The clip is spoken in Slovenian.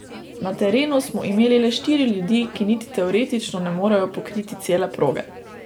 Na terenu smo imeli le štiri ljudi, ki niti teoretično ne morejo pokriti cele proge.